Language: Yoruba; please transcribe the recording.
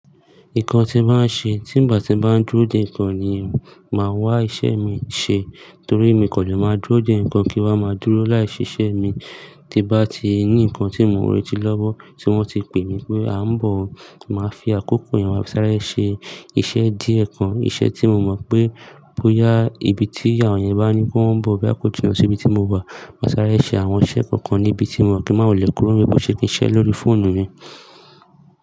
Ìkàn tí màá ṣe tí ìgbà tí màá dúró dè ìkan ni màá wá iṣẹ́ mi ṣẹ. Torí mi kò lè máa dúró dè ìkan kí wá máa dúró láì ṣiṣẹ́ mi. Ti bá ti ní ìkan tí mò ń retí lọ́wọ́ tí wọ́n ti pè mí pé a ń bọ̀, màá fi àkókò yẹn wá sáré ṣe iṣẹ́ díẹ̀ kan. Iṣẹ́ tí mo mọ̀ pé bóyá ibi tí èèyàn yẹn bá ní pé òhun nbọ̀ bóya kò jinná sí ibi tí mò wà, mà sáré ṣe àwọn iṣẹ́ kọ̀ọ̀kan níbi tí mo wà kí mà wọulẹ̀ kúrò níbi bó ṣe kí n ṣẹ́ lórí fóònù mi.